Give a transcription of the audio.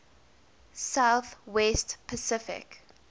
south west pacific